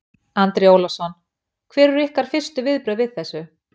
Andri Ólafsson: Hver eru ykkar fyrstu viðbrögð við þessu?